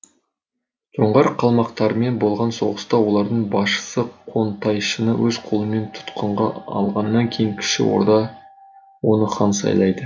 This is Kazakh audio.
жоңғар қалмақтарымен болған соғыста олардың басшысы қонтайшыны өз қолымен тұтқынға алғаннан кейін кіші орда оны хан сайлады